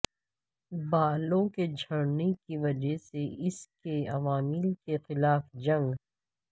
بالوں کے جھڑنے کی وجہ سے اس کے عوامل کے خلاف جنگ